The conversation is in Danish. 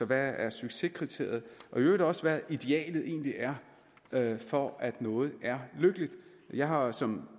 der er succeskriteriet og i øvrigt også hvad idealet egentlig er for at noget er lykkeligt jeg har som